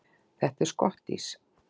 Þetta er skottís!